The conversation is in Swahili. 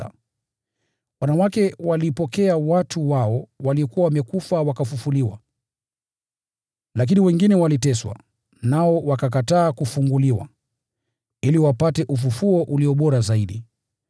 Wanawake walipokea watu wao waliokuwa wamekufa, wakafufuliwa. Lakini wengine waliteswa, nao wakakataa kufunguliwa, ili wapate ufufuo ulio bora zaidi.